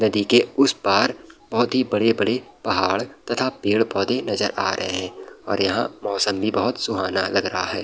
नदी के उस पार बहोत ही बड़े-बड़े पहाड़ तथा पेड़ पौधे नजर आ रहे हैं और यहाँ मौसम भी बहोत सुहाना लग रहा है।